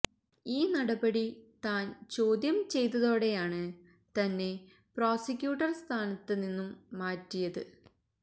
ഈ നടപടി താൻ ചോദ്യം ചെയ്തതോടെയാണ് തന്നെ പ്രോസിക്യൂട്ടർ സ്ഥാനത്ത് നിന്നും മാറ്റിയത്